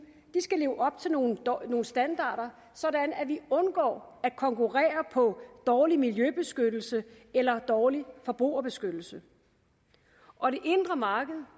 skal leve op til nogle standarder sådan at vi undgå at konkurrere på dårlig miljøbeskyttelse eller dårlig forbrugerbeskyttelse og det indre marked